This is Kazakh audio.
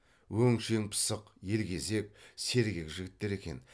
өңшең пысық елгезек сергек жігіттер екен